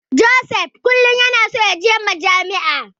Joseph kullum yana so yaje Majami'a.